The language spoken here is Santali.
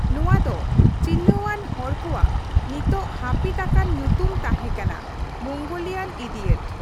ᱱᱚᱣᱟ ᱫᱚ ᱪᱤᱱᱦᱟᱹᱣᱟᱱ ᱦᱚᱲ ᱠᱚᱣᱟᱜ ᱱᱤᱛ ᱦᱟᱹᱯᱤᱫ ᱟᱠᱟᱱ ᱧᱩᱛᱩᱢ ᱛᱟᱦᱮᱸ ᱠᱟᱱᱟ 'ᱢᱳᱝᱜᱳᱞᱤᱭᱟᱱ ᱤᱰᱤᱭᱚᱴ '᱾